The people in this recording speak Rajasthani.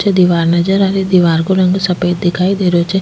पीछे दिवार नजर आ रही दिवार को रंग सफ़ेद दिखाई दे रहो छे।